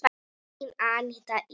Þín Aníta Ýr.